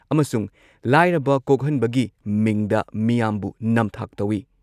ꯑꯃꯁꯨꯡ ꯂꯥꯏꯔꯕ ꯀꯣꯛꯍꯟꯕꯒꯤ ꯃꯤꯡꯗ ꯃꯤꯌꯥꯝꯕꯨ ꯅꯝꯊꯥꯛ ꯇꯧꯏ ꯫